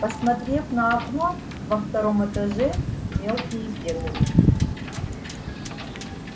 посмотрев на окно во втором этаже мелкие бегали